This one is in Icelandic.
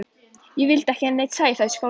Ég vildi ekki að neinn sæi það í skólanum.